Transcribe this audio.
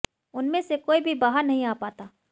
उनमें से कोई भी बाहर नहीं आ पाता